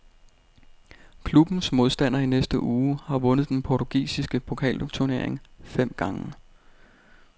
Klubbens modstander i næste uge har vundet den portugisiske pokalturnering fem gange.